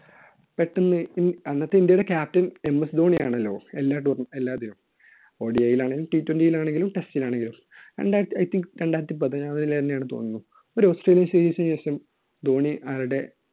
പെട്ടെന്ന്, അന്നൊക്കെ ഇൻഡ്യയുടെ captainms ധോണി ആണല്ലോ. എല്ലാ എല്ലാതിനും. ODI യിൽ ആണെങ്കിലും twenty യിൽ ആണെങ്കിലും test ൽ ആണെങ്കിലും. രണ്ടായിരത്തി~ I think രണ്ടായിരത്തി പതിനാറിൽ തന്നെ ആണെന്നു തോന്നുന്നു. ഒരു ആസ്ത്രേലിയൻ series നു ശേഷം ധോണി അയാളുടെ